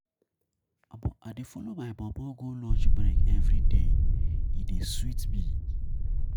I dey folo my bobo go lunch break everyday, e e dey sweet me.